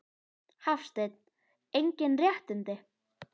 Hafsteinn: Engin réttindi?